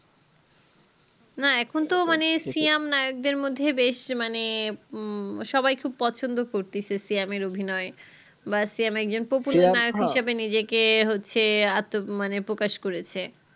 না এখন তো মানে সিয়াম নায়ক দের মধ্যে বেশ মানে উহ সবাই খুব পছন্দ করতেসে সিয়ামের অভিনয় বা মিয়াস একজন popular মানুষ হিসাবে নিজেকে হচ্ছে এতো প্রকাশ করেছে